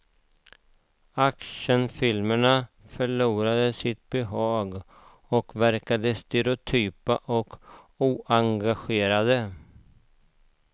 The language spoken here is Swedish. Actionfilmer förlorade sitt behag och verkade stereotypa och oengagerande.